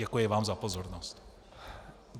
Děkuji vám za pozornost.